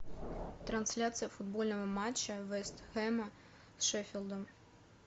трансляция футбольного матча вест хэма с шеффилдом